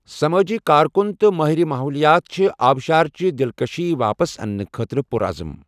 سمٲجی کارکُن تہٕ مٲہرِ ماحولیات چھِ آبشارٕچہِ دِلکٔشی واپس انٛنہٕ خٲطرٕ پُر عزم۔